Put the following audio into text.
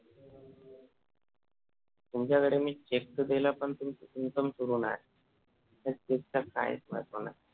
तुमच्याकडे मी check तर दिला पण तुमचं income सुरु नाही. त्या Cheque चा काहीच महत्व नाही